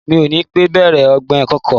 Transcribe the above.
Mi ò ní pẹ́ bèrè ọ̀gbìn kòkó.